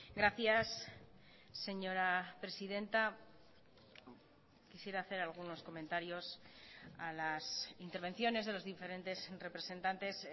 gracias señora presidenta quisiera hacer algunos comentarios a las intervenciones de los diferentes representantes